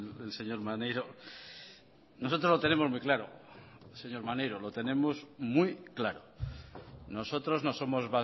del señor maneiro nosotros lo tenemos muy claro señor maneiro lo tenemos muy claro nosotros no somos